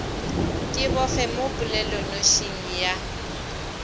ke bofe mo polelonošing ya